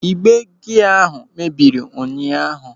Ịgbe gia ahụ mebiri ụnyaahụ.